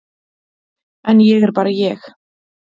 En ég er bara ég.